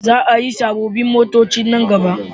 Za a yi sabobbin motoci nan gaba